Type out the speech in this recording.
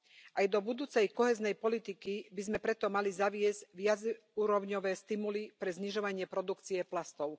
Aj do budúcej kohéznej politiky by sme preto mali zaviesť viacúrovňové stimuly pre znižovanie produkcie plastov.